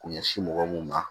K'u ɲɛsin mɔgɔ mun ma